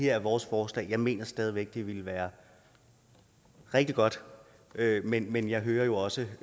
er vores forslag jeg mener stadig væk det ville være rigtig godt men men jeg hører jo også